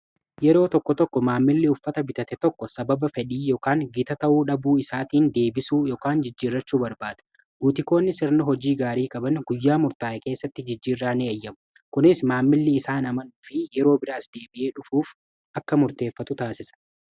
yeroo tokko tokko maammilli uffata bitate tokko sababa fedhii ykan gita ta'uu dhabuu isaatiin deebisu ykn jijjiirrachuu barbaada guutikoonni sirni hojii gaarii kaban guyyaa murtaa'e keessatti jijjiirraa ni eeyyamu kunis maammilli isaan amanuu fi yeroo biraas deebi'ee dhufuuf akka murteeffatu taasisa